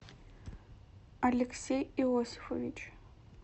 алексей иосифович